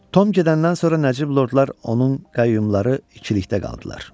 Tom gedəndən sonra nəcib lordlar onun qəyyumları ikilikdə qaldılar.